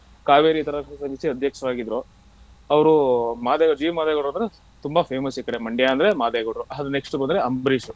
ಕಾವೇರಿ ಸಮಿತಿಯ ಅಧ್ಯಕ್ಷರಗಿದ್ರೂ ಅವರು ಮಾದೇವ ಜಿ ಮದೇವಗೌಡ್ರು ಅಂದ್ರೆ ತುಂಬಾ famous ಈ ಕಡೆ Mandya ಅಂದ್ರೆ ಮಾದೇವಗೌಡ್ರು ಅದು next ಬಂದ್ರೆ ಅಂಬರೀಷ್.